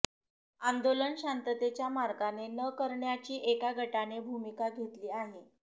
आंदोलन शांततेच्या मार्गाने न करण्याची एका गटाने भूमिका घेतली आहे